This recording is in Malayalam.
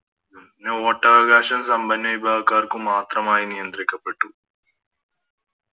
പിന്നെ വോട്ടവകാശം സമ്പന്ന വിഭാഗക്കാർക്ക് മാത്രമായി നിയന്ത്രിക്കപ്പെട്ടു